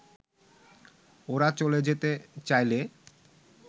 ওরা চলে যেতে চাইলে